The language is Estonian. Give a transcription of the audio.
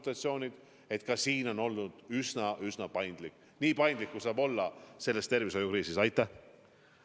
Ka selles osas on oldud üsna paindlik – nii paindlik, kui selles tervishoiukriisis olla saab.